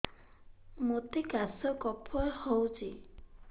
ମୋତେ କାଶ କଫ ହଉଚି